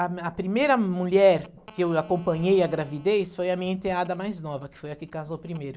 A primeira mulher que eu acompanhei a gravidez foi a minha enteada mais nova, que foi a que casou primeiro.